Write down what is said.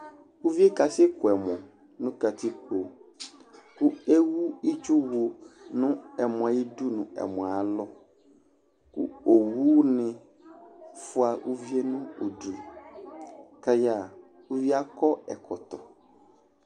Uvie ka sɛ ku ɛmɔ nu katikpo ku ewu itsu wu nu ɛmɔ yɛ ayidu ku ɛmɔ yɛ alɔ owu ni fua uvie nu u du ku aya ɣa akɔ ɛkɔtɔ